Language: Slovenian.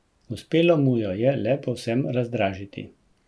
Uspelo mu jo je le povsem razdražiti.